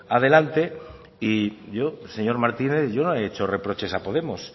adelante y yo señor martínez yo no he hecho reproches a podemos